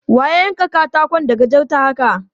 Wa ya yanka katakon da gajarta haka?